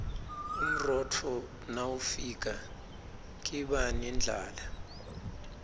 umrotfo nawifika kiba nendlala